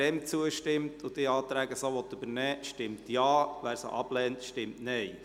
Wer dem zustimmt und die Anträge so übernehmen will, stimmt Ja, wer dies ablehnt, stimmt Nein.